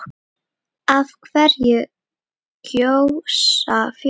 Af hverju gjósa fjöll?